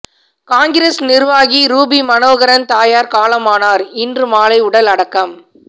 காங்கிரஸ் நிர்வாகி ரூபி மனோகரன் தாயார் காலமானார் இன்று மாலை உடல் அடக்கம்